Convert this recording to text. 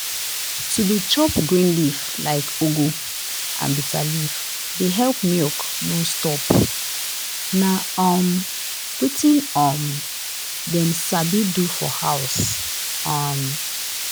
to dey chop green leaf like ugu and bitterleaf dey help milk no stop. na um wetin um dem sabi do for house. um